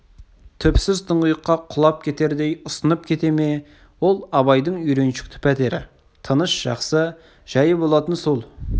түпсіз тұңғиыққа құлап кетердей ұсынып кете ме ол абайдың үйреншікті пәтері тыныш жақсы жайы болатын сол